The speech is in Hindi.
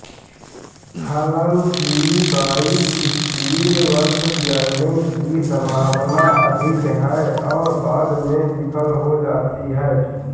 हालांकि बाइकसपिड वाल्व बिगड़ने की संभावना अधिक है और बाद में विफल हो जाती है